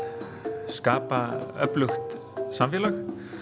skapa öflugt samfélag